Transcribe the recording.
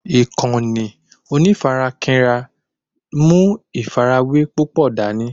Ìkànnì onífarakínra ń mú ìfàrawé púpò dání